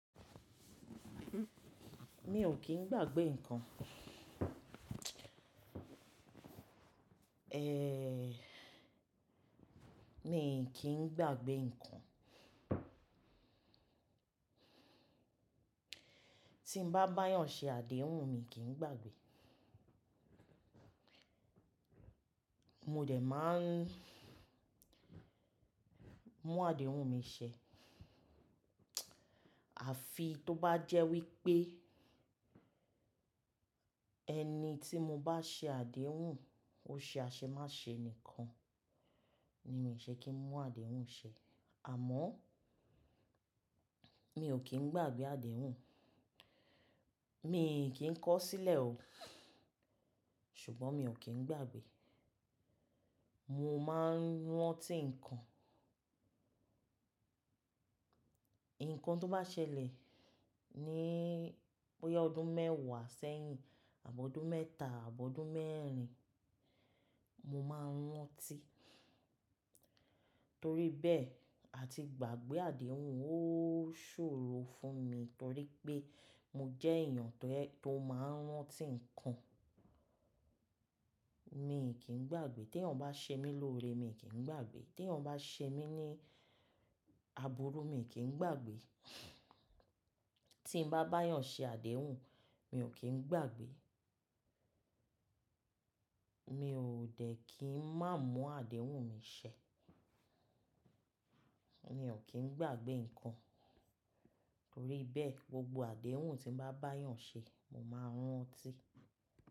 Mi ò kí n gbagbe ǹkan. Ehn, mi i kì n gbagbe ǹkan. Tí n bá báyàn ṣe àdéhùn mi kí n gbagbe. Mo dẹ̀ máa n mú àdéhùn mi ṣẹ. Àfi tó bá jẹ́ wípé ẹni tí mo bá ṣe àdéhùn ó ṣe aṣemáṣe nìkan ni mi ṣe kí n mú àdéhùn ṣẹ. Àmọ́ mi ò kí n gbagbe àdéhùn. Mi i kì n kọ sílẹ̀ o, ṣùgbọ́n mi ò kí n gbagbe. Mo máa ń rántí ǹkan. Ǹkan tó bá ṣẹlẹ̀ ní bóyá ọdún mẹ́wàá sẹ́yìn àbọdún mẹ́ta, àbọdún mẹ́rin mo máa ń rántí. Torí bẹ́ẹ̀ ati gbagbe àdéhùn ó ṣòro fún mi torí pé mo jẹ́ èèyàn to ye, tó máa ń rántí ǹkan. Mi i kì n gbagbe. Teeyàn bá ṣe mí lóore mi i kì n gbagbe. Teeyàn bá ṣe mí ní àbúrú mi i kì n gbagbe. Tí mo bá bá ìyàn ṣe àdéhùn mi ò kín gbagbe. Mi ò dẹ̀ kí n má mú àdéhùn mi ṣẹ. Mi ò kín gbagbe ǹkan. Torí bẹ́ẹ̀ gbogbo àdéhùn tí n bá bayàn ṣe mo máa ń rántí.